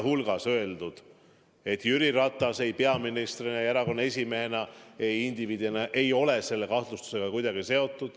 On öeldud, et Jüri Ratas ei peaministrina ja erakonna esimehena ega indiviidina ei ole selle kahtlustusega kuidagi seotud.